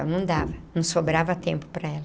Então, não dava, não sobrava tempo para ela.